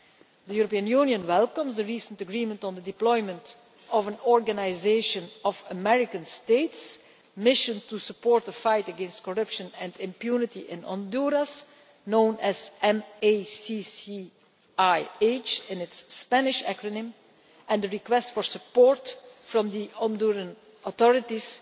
The European Union welcomes the recent agreement on the deployment of an Organisation of American States mission to support the fight against corruption and impunity in Honduras, known as MACCIH in its Spanish acronym, and the request for support from the Honduran authorities